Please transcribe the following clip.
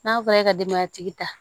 N'a fɔra e ka denbaya tigi ta